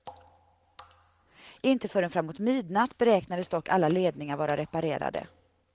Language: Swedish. Inte förrän framåt midnatt beräknades dock alla ledningar vara reparerade.